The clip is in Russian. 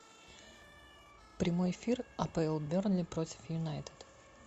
прямой эфир апл бернли против юнайтед